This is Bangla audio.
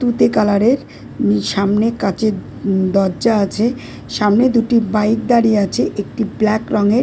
তুঁতে কালার -এর সামনে কাঁচের উ দরজা আছে সামনে দুটি বাইক দাঁড়িয়ে আছে একটি ব্ল্যাক রঙের--